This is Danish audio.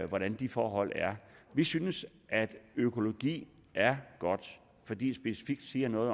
hvordan de forhold er vi synes at økologi er godt fordi det specifikt siger noget